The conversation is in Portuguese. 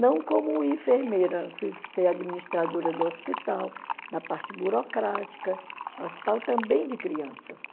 Não como enfermeira, fui ser administradora do hospital, da parte burocrática, no hospital também de crianças.